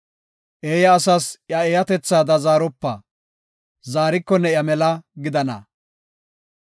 Eeya asas iya eeyatethaada zaaropa; zaariko ne iya mela gidana.